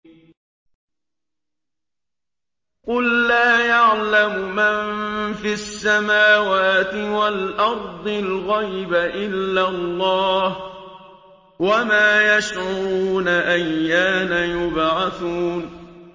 قُل لَّا يَعْلَمُ مَن فِي السَّمَاوَاتِ وَالْأَرْضِ الْغَيْبَ إِلَّا اللَّهُ ۚ وَمَا يَشْعُرُونَ أَيَّانَ يُبْعَثُونَ